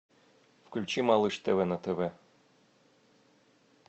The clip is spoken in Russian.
включи малыш тв на тв